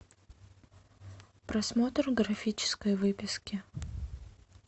просмотр графической выписки